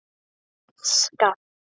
Hann skalf.